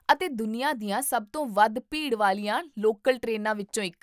ਅਤੇ ਦੁਨੀਆ ਦੀਆਂ ਸਭ ਤੋਂ ਵੱਧ ਭੀੜ ਵਾਲੀਆਂ ਲੋਕਲ ਟ੍ਰੇਨਾਂ ਵਿੱਚੋਂ ਇੱਕ